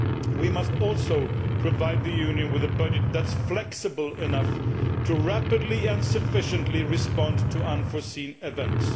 We must also provide the Union with a budget which is flexible enough to rapidly and sufficiently respond to unforeseen events.